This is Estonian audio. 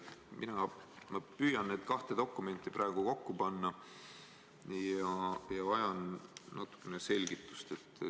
Ma püüan neid kahte dokumenti praegu kokku panna ja vajan natuke selgitust.